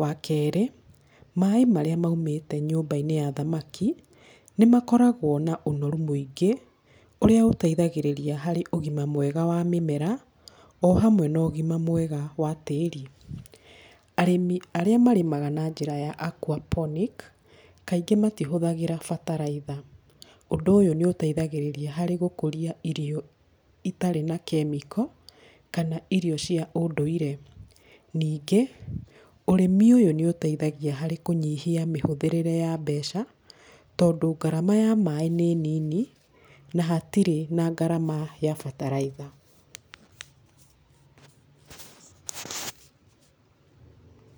Wa kerĩ, maaĩ marĩa maumĩte nyũmba-inĩ ya thamaki, nĩ makoragwo na ũnoru mũingĩ ũrĩa ũteithagĩrĩria harĩ ũgima mwega wa mĩmera o hamwe na ũgima mwega wa tĩĩri. Arĩmi arĩa marĩmaga na njĩra ya aquaponic kaingĩ matihũthagĩra bataraitha. Ũndũ ũyũ nĩ ũteithagĩrĩria harĩ gũkũria irio itarĩ na kemiko kana irio cia ũndũire. Ningĩ ũrĩmi ũyũ nĩ ũteithagia harĩ kũnyihia mĩhũthĩrĩre ya mbeca tondũ ngarama ya maaĩ nĩ nini na hatirĩ na ngarama ya bataraitha.